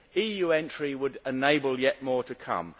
EU entry would enable yet more to come.